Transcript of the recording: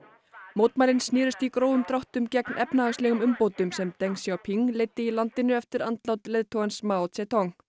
mótmælin snerust í grófum dráttum gegn efnahagslegum umbótum sem deng Xiaoping leiddi í landinu eftir andlát leiðtogans Mao Zedong